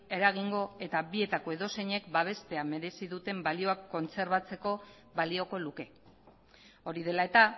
eragingo eta bietako edozeinek babestea merezi duten balioak kontserbatzeko balioko luke hori dela eta